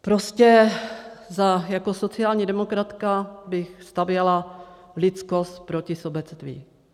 Prostě jako sociální demokratka bych stavěla lidskost proti sobectví.